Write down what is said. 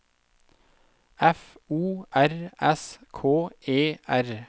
F O R S K E R